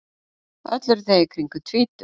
Öll eru þau í kringum tvítugt